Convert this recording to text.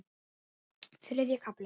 Þriðji kafli